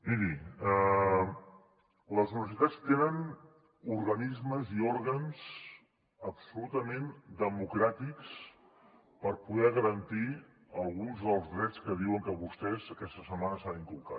miri les universitats tenen organismes i òrgans absolutament democràtics per poder garantir alguns dels drets que diuen vostès que aquesta setmana s’han inculcat